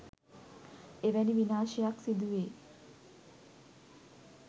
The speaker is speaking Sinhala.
එවැනි විනාශයක් සිදුවේ